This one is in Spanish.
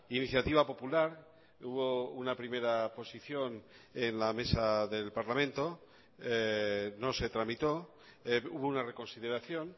iniciativa popular hubo una primera posición en la mesa del parlamento no se tramitó hubo una reconsideración